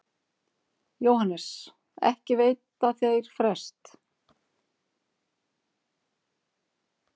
JÓHANNES: Ekki veita þeir frest.